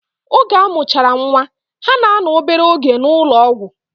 Oge amuchara nwaa, ha na ano obere oge na ulo ogwu.